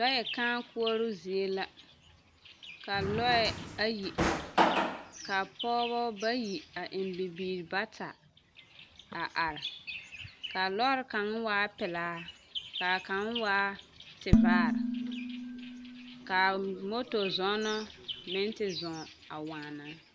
Lɔɛ kãã koɔroo zie la ka lɔɛ ayi are ka pɔɔbɔ bayi a eŋ bibiiri bata a are ka a lɔre kaŋ waa pelaa ka a kaŋ waa tevaare ka moto zɔɔnɔ meŋ te zɔɔ waana.